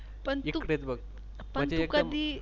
पण तू